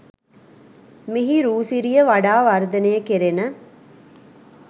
මෙහි රූ සිරිය වඩා වර්ධනය කෙරෙන